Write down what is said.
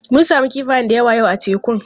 Mun sami kifaya da yawa yau a tekun.